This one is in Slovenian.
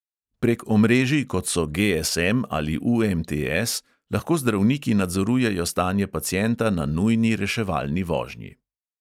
Prek omrežij, kot so GSM ali UMTS, lahko zdravniki nadzorujejo stanje pacienta na nujni reševalni vožnji.